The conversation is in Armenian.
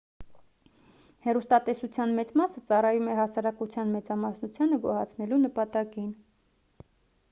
հեռուստատեսության մեծ մասը ծառայում է հասարակության մեծամասնությանը գոհացնելու նպատակին